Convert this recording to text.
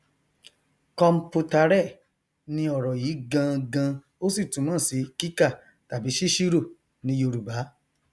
computare ni ọrọ yí gangan ó sì túmọ si kíkà tàbí sísírò ní yorùbá